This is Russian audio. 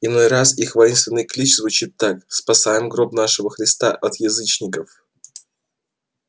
иной раз их воинственный клич звучит так спасаем гроб нашего христа от язычников